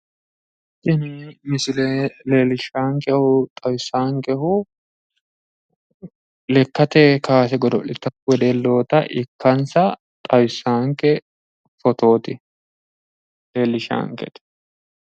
Tini misile leellishshaankehu xawisaankehu lekkate kaase godo'litanno wedelloota ikkansa xawissaanke fotooti. Leellishshaankete.